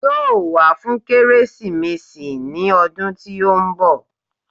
Yóò wá fún Kérésìmesì ní ọdún tí ó ń bọ̀